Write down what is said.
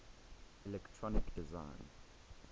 electronic design